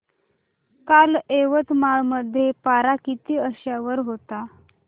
काल यवतमाळ मध्ये पारा किती अंशावर होता